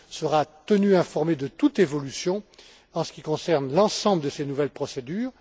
Le Parlement européen sera tenu informé de toute évolution en ce qui concerne l'ensemble de ces nouvelles procédures.